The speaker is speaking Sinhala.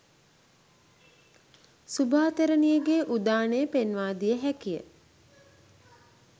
සුභා තෙරණියගේ උදානය පෙන්වා දිය හැකි ය.